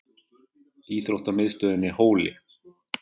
Íþróttamiðstöðinni Hóli